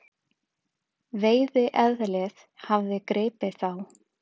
Veiðieðlið hafði gripið þá.